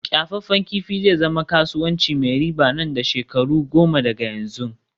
kyafaffen kifi zai zama kasuwanci mai riba nan da shekaru goma daga yanzu